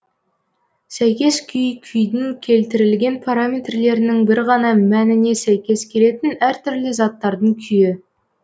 сәйкес күй күйдің келтірілген параметрлерінің бір ғана мэніне сәйкес келетін әр түрлі заттардың күйі